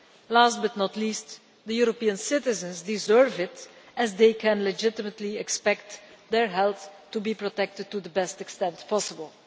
Last but not least, the European citizens deserve it as they can legitimately expect their health to be protected to the best extent possible.